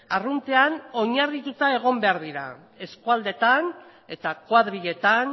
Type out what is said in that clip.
arruntean oinarrituta egon behar dira eskualdeetan eta kuadriletan